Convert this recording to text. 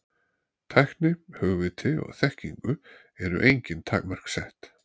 Tækni, hugviti og þekkingu eru engin takmörk sett.